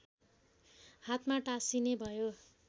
हातमा टाँसिने भयो